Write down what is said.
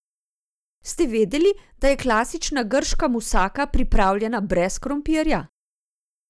Ste vedeli, da je klasična grška musaka pripravljena brez krompirja?